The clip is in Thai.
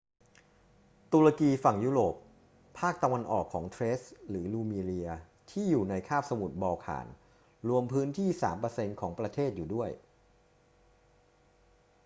ตุรกีฝั่งยุโรป ภาคตะวันออกของเทรซหรือรูมีเลียที่่อยู่ในคาบสมุทรบอลข่าน รวมพื้นที่ 3% ของประเทศอยู่ด้วย